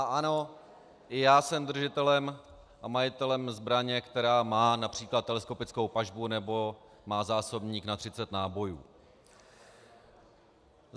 A ano, i já jsem držitelem a majitelem zbraně, která má například teleskopickou pažbu nebo má zásobník na 30 nábojů.